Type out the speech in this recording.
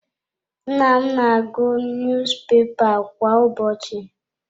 Nna m na-agụ niyuzupepa kwa ụbọchị.